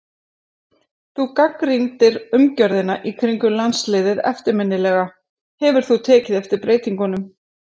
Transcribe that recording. Þú gagnrýndir umgjörðina í kringum landsliðið eftirminnilega, hefur þú tekið eftir breytingum?